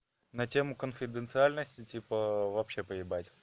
на тему конфиденциальности типа вообще поебать